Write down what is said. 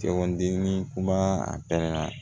kuma a pɛrɛnna